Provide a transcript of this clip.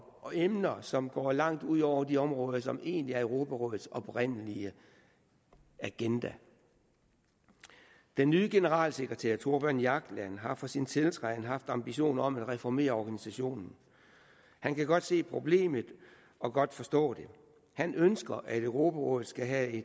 og emner som går langt ud over de områder som egentlig er europarådets oprindelige agenda den nye generalsekretær thorbjørn jagland har fra sin tiltræden haft ambitioner om at reformere organisationen han kan godt se problemet og godt forstå det han ønsker at europarådet skal have